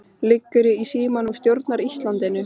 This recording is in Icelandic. Liggurðu í símanum og stjórnar Íslandinu?